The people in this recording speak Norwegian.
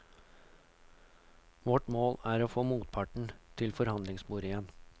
Vårt mål er å få motparten til forhandlingsbordet igjen.